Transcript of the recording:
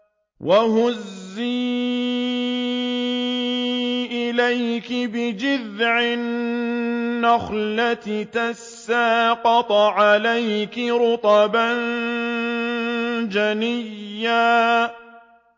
وَهُزِّي إِلَيْكِ بِجِذْعِ النَّخْلَةِ تُسَاقِطْ عَلَيْكِ رُطَبًا جَنِيًّا